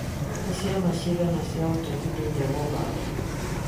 Nĩ ciama cigana cia ũteti thĩinĩ wa Uganda